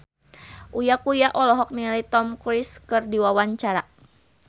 Uya Kuya olohok ningali Tom Cruise keur diwawancara